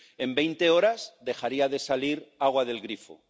en veinte horas dejaría de salir agua del grifo